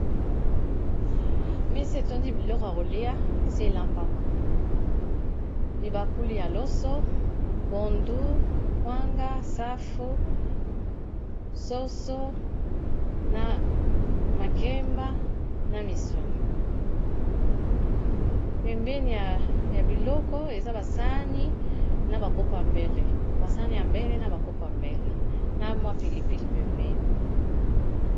Mesa etondi biloko ya kolia esi elambama, kibakuli ya loso pondu kwanga safu soso na makemba na misuni pembeni ya biloko eza basani na ba kopo ya mbele basani ya mbele na ba kopo yambele na mwa pilipili pembeni.